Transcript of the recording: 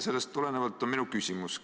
Sellest tulenevalt on mul küsimus.